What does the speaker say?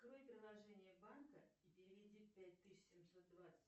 открой приложение банка и переведи пять тысяч семьсот двадцать